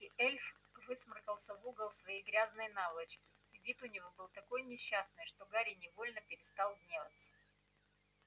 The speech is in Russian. и эльф высморкался в угол своей грязной наволочки вид у него был такой несчастный что гарри невольно перестал гневаться